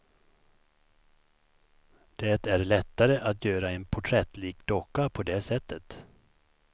Det är lättare att göra en porträttlik docka på det sättet.